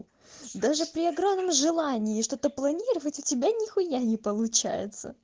даже при огромном желании что то планировать у тебя нихуя не получается